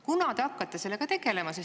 Kunas te hakkate sellega tegelema?